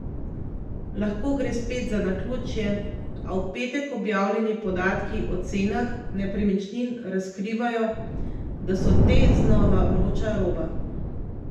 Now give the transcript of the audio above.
Lahko gre spet za naključje, a v petek objavljeni podatki o cenah nepremičnin razkrivajo, da so te znova vroča roba.